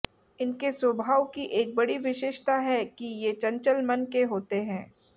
इनके स्वभाव की एक बड़ी विशेषता है कि ये चंचल मन के होते हैं